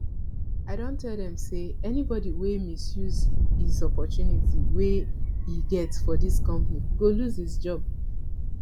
i don tell them say anybody wey misuse his opportunity wey he get for this company go loose his job